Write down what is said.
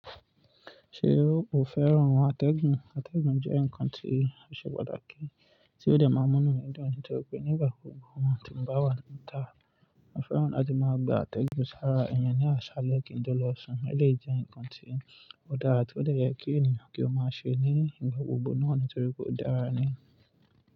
Ṣé o ò fẹ́ràn atẹ́gùn? Atẹ́gùn jẹ́ ǹkan tí ó ṣe pàtàkì tí ó de máa n múnù iyan dun nitori pé nígbà kugba tí n bá wà níta. Mo fẹ́ràn láti máa gba àtẹ̀gùn sára iyen ní aṣálẹ́ kí n tó lọ sùn, ó lè jẹ́ ǹkan tí ó dára tó de yẹ kí ènìyàn kí ó máa ṣe ní igbà gbogbo náà nítorí pé ó dára ni.